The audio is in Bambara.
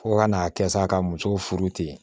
Fo ka n'a kɛ sa ka muso furu ten